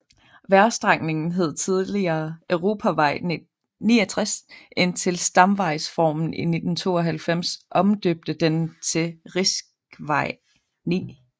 Vejstrækningen hed tidligere europavej 69 indtil stamvejsreformen i 1992 omdøbte den til riksvei 9